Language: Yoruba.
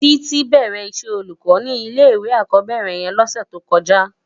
Titi bèrè iṣè ólúkò ni ilé iwé ákòbèrè yèn lòsè tókòjá